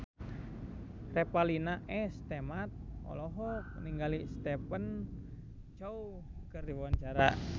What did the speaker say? Revalina S. Temat olohok ningali Stephen Chow keur diwawancara